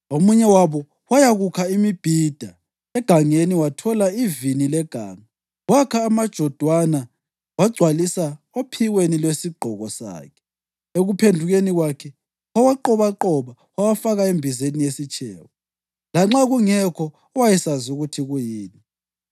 Omunye wabo wayakukha imibhida egangeni wathola ivini leganga. Wakha amajodwana wagcwalisa ophikweni lwesigqoko sakhe. Ekuphendukeni kwakhe wawaqobaqoba wawafaka embizeni yesitshebo lanxa kungekho owayesazi ukuthi kuyini.